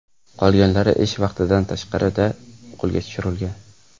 Qolganlari ish vaqtidan tashqarida qo‘lga tushirilgan.